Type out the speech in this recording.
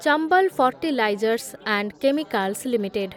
Chambal fertilisers and chemicals limited